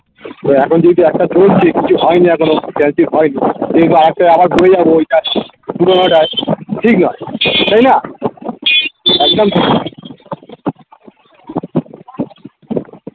তো এখন যেহেতু একটা চলছে কিছু হয়নি এখনো friendship হয়নি তো এদিকে আর একটায় আবার ঘুরে যাবো ওইটা পুরোনোটায় ঠিক নয় তাইনা? একদম ঠিক নয়